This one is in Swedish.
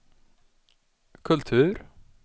kultur